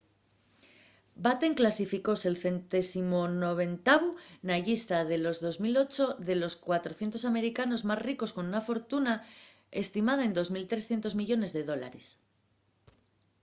batten clasificóse’l 190u na llista de 2008 de los 400 americanos más ricos con una fortuna estimada en 2.300 millones de dólares